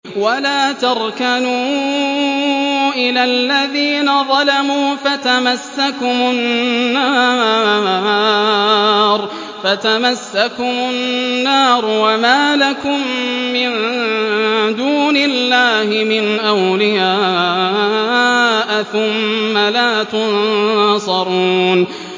وَلَا تَرْكَنُوا إِلَى الَّذِينَ ظَلَمُوا فَتَمَسَّكُمُ النَّارُ وَمَا لَكُم مِّن دُونِ اللَّهِ مِنْ أَوْلِيَاءَ ثُمَّ لَا تُنصَرُونَ